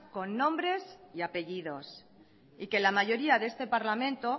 con nombres y apellidos y que la mayoría de este parlamento